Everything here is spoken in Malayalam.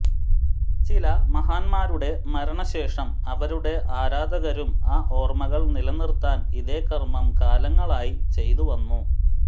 ചില മഹാൻമാരുടെ മരണ ശേഷം അവരുടെ ആരാധകരും ആ ഓർമ്മകൾ നിലനിർത്താൻ ഇതേ കർമ്മം കാലങ്ങളായി ചെയ്തു വന്നു